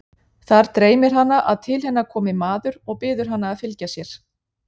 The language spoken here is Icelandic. Þar dreymir hana að til hennar komi maður og biður hana að fylgja sér.